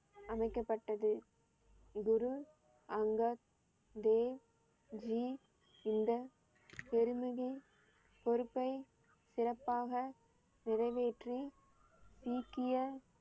அமைக்கப்பட்டது. குரு அங்கத் தேவ் ஜி இந்த பெருமையை பொறுப்பை சிறப்பாக நிறைவேற்றி சீக்கிய